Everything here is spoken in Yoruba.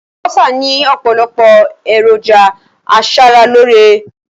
Àlùbọ́sà ni opolopo eroja asaraloore